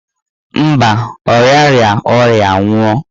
Mba, ọ riara ọrịa nwụọ.